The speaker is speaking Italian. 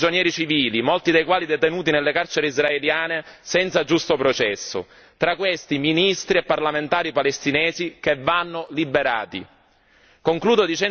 Ci sono migliaia di prigionieri civili, molti dei quali detenuti nelle carceri israeliane, senza giusto processo. Tra questi, ministri e parlamentari palestinesi che vanno liberati.